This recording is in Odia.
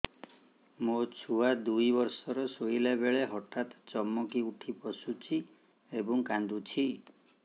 ମୋ ଛୁଆ ଦୁଇ ବର୍ଷର ଶୋଇଲା ବେଳେ ହଠାତ୍ ଚମକି ଉଠି ବସୁଛି ଏବଂ କାଂଦୁଛି